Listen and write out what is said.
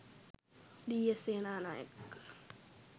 D. S. Senanayake,